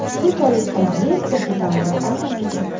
Shu tariqa yer kapitalga aylanadi.